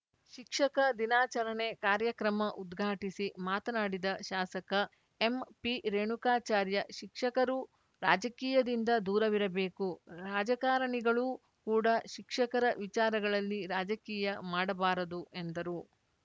ಶಿಕ್ಷಕ ದಿನಾಚರಣೆ ಕಾರ್ಯಕ್ರಮ ಉದ್ಘಾಟಿಸಿ ಮಾತನಾಡಿದ ಶಾಸಕ ಎಂಪಿರೇಣುಕಾಚಾರ್ಯ ಶಿಕ್ಷಕರು ರಾಜಕೀಯದಿಂದ ದೂರವಿರಬೇಕು ರಾಜಕಾರಣಿಗಳೂ ಕೂಡ ಶಿಕ್ಷಕರ ವಿಚಾರಗಳಲ್ಲಿ ರಾಜಕೀಯ ಮಾಡಬಾರದು ಎಂದರು